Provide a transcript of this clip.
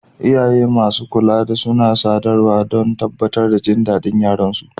Iyaye da masu kula suna sadarwa don tabbatar da jin daɗin yaran su.